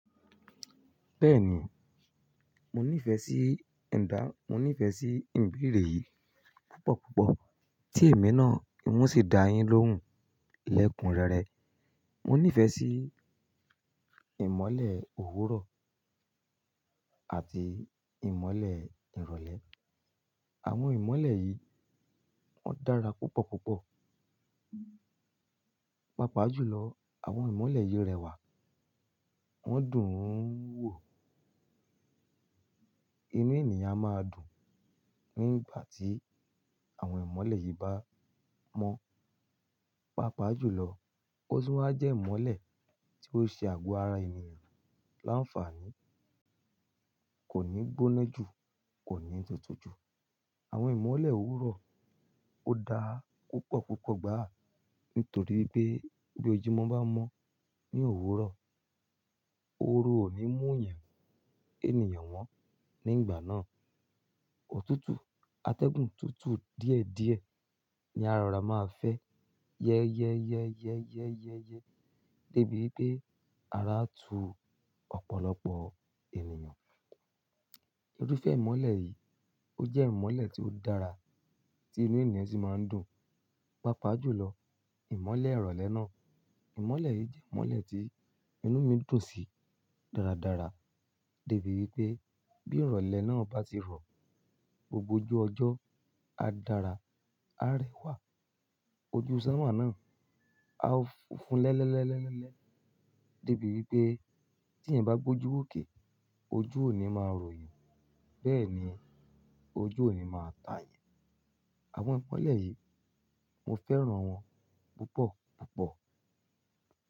Bẹ́ẹ̀ni, mo nífẹ̀ẹ́ sí ẹ̀dà, mo nífẹ̀ẹ́ sí ìbere yìí púpọ̀ púpọ̀. Tí èmi náà oun ṣi da yín lóhùn lẹ́kun rere. Mo nífẹ̀ẹ́ sí ìmọ́lẹ̀ òwúrọ̀ àti ìmọ́lẹ̀ ìrọ̀lẹ́. Àwọn ìmọ́lẹ̀ yìí wọ́n dára púpọ̀ púpọ̀. Pápá jù lọ, àwọn ìmọ́lẹ̀ yìí rẹwà, wọ́n dùn ún wò. Inú ènìyàn máa dùn nígbà tí àwọn ìmọ́lẹ̀ yìí bá mọ́. Pápá jù lọ, ó tun wa jẹ́ ìmọ́lẹ̀ tí ó ṣe àgọ́ ara ènìyàn láǹfààní. Kò ní gbóná jù, kò ní tutù jù. Àwọn ìmọ́lẹ̀ òwúrọ̀ ó dáa púpọ̀ púpọ̀ gbàá nítorí pé bí ojú ọmọ bá mọ́ ní òwúrọ̀, oru ò ní mú yàn ènìyàn wọ́n nígbà náà. Òtútù, atẹ́gùn tútù díẹ̀ díẹ̀ ni a rora máa fẹ́. Yẹ́yẹ́yẹ́yẹ́yẹ́yẹ́, débi wípé ara tu ọ̀pọ̀lọpọ̀ ènìyàn. Iru fẹ ìmọ́lẹ̀ yìí, ó jẹ́ ìmọ́lẹ̀ tí ó dára tí inú ènìyàn sì máa ń dùn. Pápá jù lọ, ìmọ́lẹ̀ ìrọ̀lẹ́ náà, ìmọ́lẹ̀ yìí jẹ́ ìmọ́lẹ̀ tí inú mi dùn sí dáradára. Débi wípé bí ìrọ̀lẹ́ náà bá ti rọ̀, gbogbo ojú ọjọ́ á dára, á rẹwà. Ojú sáma náà á fun lẹ́lẹ́lẹ́lẹ́lẹ́, débi wípé tí ẹ̀yin bá gbójú òkè, ojú òní máa rò yín. Bẹ́ẹ̀ ni ojú òní máa ta yan. Àwọn ìmọ́lẹ̀ yìí, mo fẹ́ràn wọn púpọ̀ púpọ̀.